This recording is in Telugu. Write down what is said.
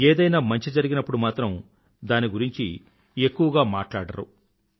ఏదైనా మంచి జరిగినప్పుడు మాత్రం దాని గురించి ఎక్కువగా మాట్లాడరు